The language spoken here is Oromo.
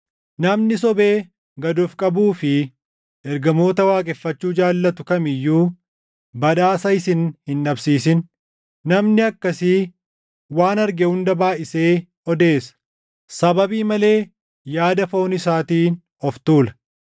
Namni sobee gad of qabuu fi ergamoota waaqeffachuu jaallatu kam iyyuu badhaasa isin hin dhabsiisin. Namni akkasii waan arge hunda baayʼisee odeessa; sababii malee yaada foon isaatiin of tuula.